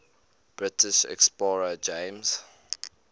british explorer james